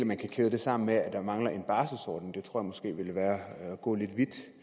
man kan kæde det sammen med at der mangler en barselsordning det tror jeg måske ville være at gå lidt